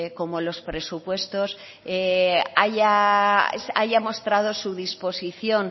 como los presupuestos haya mostrado su disposición